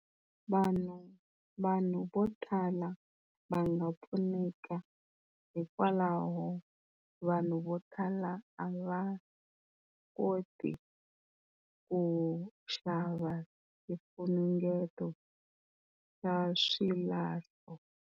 Vanhu, vanhu vo tala va nga pfuneka hikwalaho vanhu vo tala a va koti ku xava swifunengeto swa xilahlo.